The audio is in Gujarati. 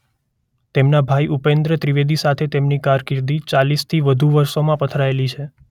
તેમનાં ભાઇ ઉપેન્દ્ર ત્રિવેદી સાથે તેમની કારકિર્દી ચાલીસથી વધુ વર્ષોમાં પથરાયેલી છે.